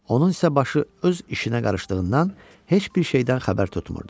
Onun isə başı öz işinə qarışdığından heç bir şeydən xəbər tutmurdu.